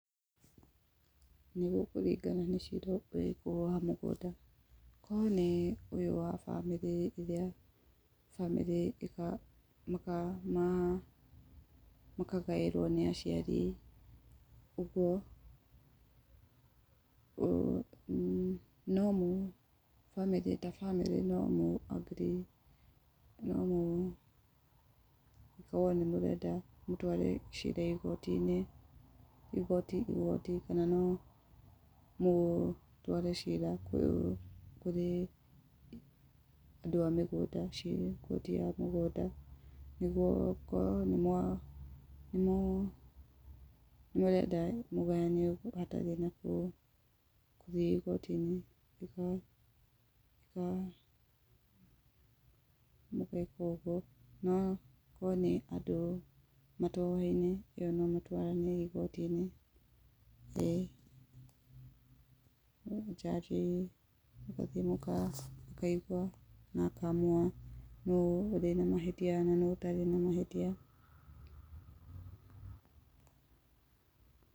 Nĩ gũkũringana nĩ cira ũrĩkũ wa mũgũnda. Korwo nĩ ũyũ wa bamĩrĩ ĩrĩa, bamĩrĩ makagaĩrwo nĩ aciari, ũguo, tabamĩrĩ nomũ agree nomũkorwo nĩmũrenda gũtwara cira igoti-inĩ, igoti igoti, kana no mũtware cira kũrĩ andũ a mĩgũnda, ciĩ gĩkũndĩ kĩa mĩgũnda, nĩguo mũkorwo nĩ mũrenda kũgayana hatarĩ na gũthiĩ igoti-inĩ. Mũgeka ũguo na korwo nĩ andũ matoyaine, ĩyo nomũtwarane igoti-inĩ. Ĩĩ njanjĩ nĩ akaigua, akamũigua na akaamua nũũ ũrĩ na mahĩtia na nũũ ũtarĩ na mahĩtia.